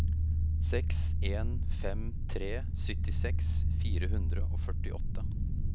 seks en fem tre syttiseks fire hundre og førtiåtte